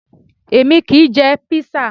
Èmi kì í jẹ Písà